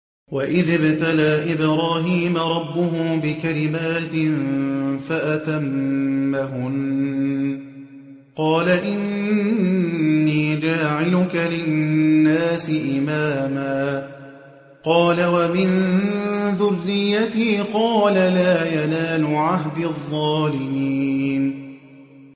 ۞ وَإِذِ ابْتَلَىٰ إِبْرَاهِيمَ رَبُّهُ بِكَلِمَاتٍ فَأَتَمَّهُنَّ ۖ قَالَ إِنِّي جَاعِلُكَ لِلنَّاسِ إِمَامًا ۖ قَالَ وَمِن ذُرِّيَّتِي ۖ قَالَ لَا يَنَالُ عَهْدِي الظَّالِمِينَ